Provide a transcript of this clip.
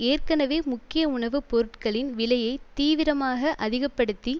ஏற்கனவே முக்கிய உணவு பொருட்களின் விலையை தீவிரமாக அதிக படுத்தி